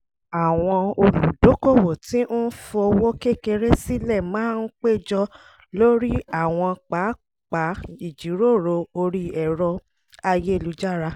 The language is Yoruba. àwọn oludokowo tí ń fowó kékeré sílẹ̀ máa ń péjọ lórí àwọn pápá ìjíròrò orí ẹ̀rọ ayélujára